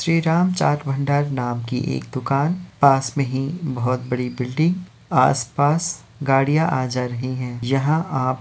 श्री राम चाट भंडार नाम की एक दुकान पास में ही बहुत बड़ी बिल्डिंग आस-पास गाड़ियाँ आ जाती है। यहाँ आप ---